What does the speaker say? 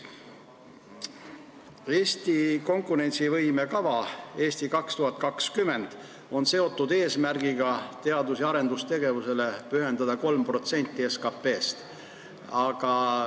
Eesti konkurentsivõime kavas "Eesti 2020" on seatud eesmärk eraldada teadus- ja arendustegevuseks 3% SKP-st.